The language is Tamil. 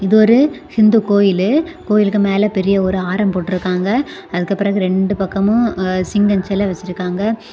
இது ஒரு ஹிந்து கோயிலு கோயிலுக்கு மேல பெரிய ஒரு ஆரம் போட்ருக்காங்க அதுக்கப்புறம் ரெண்டு பக்கமும் சிங்க செல வச்சிருக்காங்க.